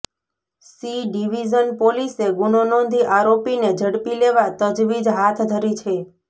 C division પોલીસે ગુનો નોંધી આરોપીને ઝડપી લેવા તજવીજ હાથ ધરી છે